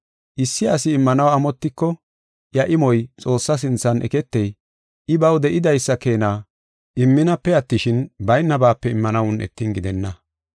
Issi asi immanaw amotiko, iya imoy Xoossa sinthan eketey, I baw de7idaysa keena imminape attishin, baynabape immanaw un7etin gidenna.